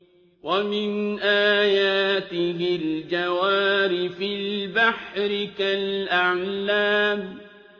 وَمِنْ آيَاتِهِ الْجَوَارِ فِي الْبَحْرِ كَالْأَعْلَامِ